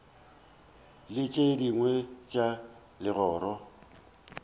le tše dingwe tša legoro